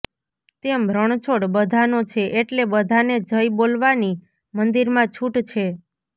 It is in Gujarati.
તેમ રણછોડ બધાનો છે એટલે બધાને જય બોલવાની મંદિરમાં છૂટ છે